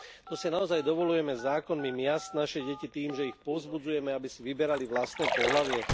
To si naozaj dovoľujeme zákonmi miasť naše deti tým, že ich povzbudzujeme, aby si vyberali vlastné pohlavie?